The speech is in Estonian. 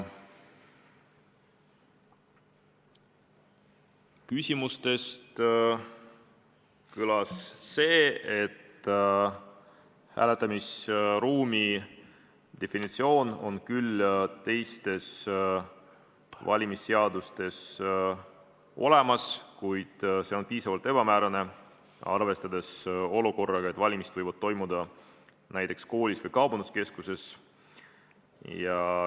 Küsimustest jäi kõlama see, et hääletamisruumi definitsioon on teistes valimisseadustes küll olemas, kuid see on üsna ebamäärane, arvestades olukorda, et valimised võivad toimuda ka näiteks koolis või kaubanduskeskuses.